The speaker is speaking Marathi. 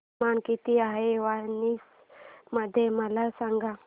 तापमान किती आहे वाराणसी मध्ये मला सांगा